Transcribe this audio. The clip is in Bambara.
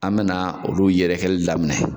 An be na olu yɛrɛkɛli daminɛ.